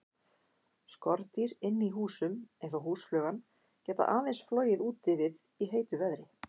Skordýr inni í húsum, eins og húsflugan, geta aðeins flogið úti við í heitu veðri.